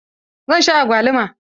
Zan sha agwaluma.